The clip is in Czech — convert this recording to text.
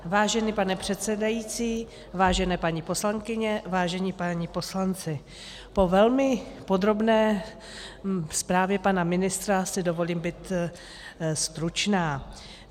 Vážený pane předsedající, vážené paní poslankyně, vážení páni poslanci, po velmi podrobné zprávě pana ministra si dovolím být stručná.